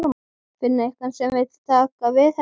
Finna einhvern sem vill taka við henni.